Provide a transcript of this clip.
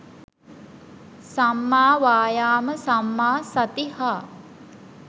සම්මා වායාම සම්මා සති හා